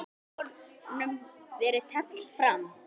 Hefur honum verið teflt fram?